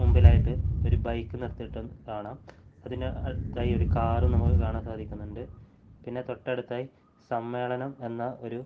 മുൻപിലായിട്ട് ഒരു ബൈക്ക് നിർത്തിയിട്ട കാണാം അതിന് അടുത്തായി ഒരു കാറ് നമുക്ക് കാണാൻ സാധിക്കുന്നുണ്ട് പിന്നെ തൊട്ടടുത്തായി സമ്മേളനം എന്ന ഒരു--